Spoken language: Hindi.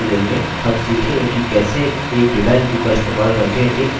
एक डिज़ाइन view का इस्तेमाल करके एक query बनाएँ